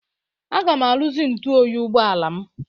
Aga m arụzi ntụ oyi ụgbọala m.